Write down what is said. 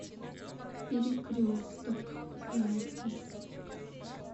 перекресток запись